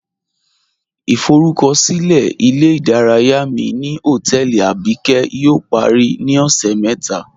Ìforúkọ̀silẹ̀ ilẹ̀-ìdáràyà mi ni hotẹẹlì Abíkẹ̀ yóò parí ni ọṣẹ́ mẹta